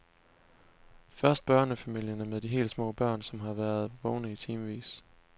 Først børnefamilierne med de helt små børn, som har været vågne i timevis.